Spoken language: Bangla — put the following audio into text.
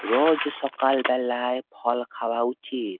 রোজ সকাল বেলায় ফল খাওয়া উচিত।